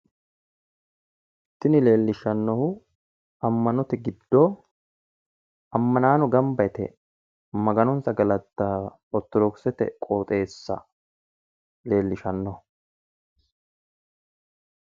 Tinni leelishanohu ama'note gido amannaano gamba yite maganonsa gallatao ortodokisete qooxeessa leelishanoho.